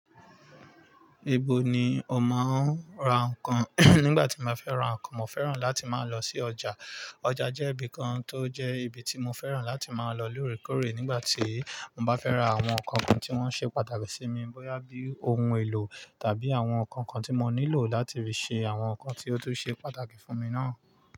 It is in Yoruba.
Ibo ni o máa tí ń ra nǹkan? Nígbà tí mo fẹ́ ra nǹkan, mo fẹ́ràn láti máa lọ sí ọjà. Ọjà jẹ́ ibi kan tó jẹ́ ibi tí mo fẹ́ràn láti máa lọ lóòrèkóòrè nígbà tí mo bá fẹ́ ra àwọn nǹkan kan tí wọ́n ṣe pàtàkì sí mi, bóyá bí ohun èlò tàbí àwọn nǹkan kan tí mo nílò láti fi ṣe àwọn nǹkan tí ó tún ṣe pàtàkì fún mi náà.